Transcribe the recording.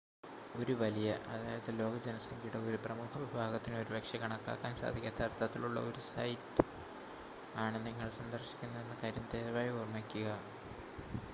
ഒരു വലിയ അതായത് ലോകജനസംഖ്യയുടെ ഒരു പ്രമുഖ വിഭാഗത്തിന് ഒരുപക്ഷെ കണക്കാക്കാൻ സാധിക്കാത്ത അർത്ഥത്തിലുള്ള ഒരു സൈറ്റ് ആണ് നിങ്ങൾ സന്ദർശിക്കുന്നതെന്ന കാര്യം ദയവായി ഓർമ്മിക്കുക